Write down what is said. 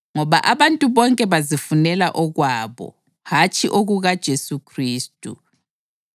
Ngoba abantu bonke bazifunela okwabo, hatshi okukaJesu Khristu.